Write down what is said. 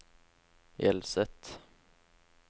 Hjelset